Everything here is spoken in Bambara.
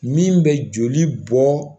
Min bɛ joli bɔ